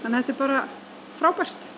þetta er bara frábært